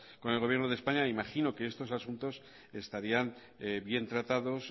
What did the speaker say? con el gobierno de españa imagino que estos asuntos estarían bien tratados